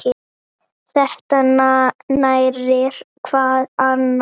Þetta nærir hvað annað.